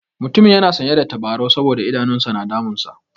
Mutumin yana sanye da tabarau saboda idanun sa na damunsa.